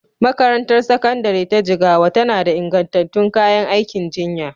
Makarantar Sakandare ta Jigawa tana da ingantattun kayan aikin jinya